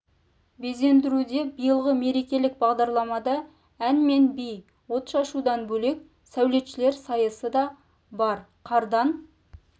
безендіруде биылғы мерекелік бағдарламада ән мен би от шашудан бөлек сәулетшілер сайысы да бар қардан